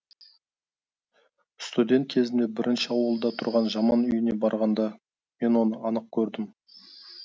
студент кезімде бірінші ауылда тұрған жаман үйіне барғанда мен оны анық көрдім